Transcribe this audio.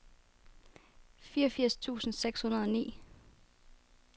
fireogfirs tusind seks hundrede og ni